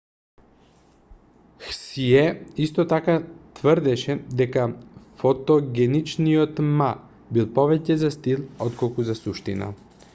хсие исто така тврдеше дека фотогеничниот ма бил повеќе за стил отколку за суштина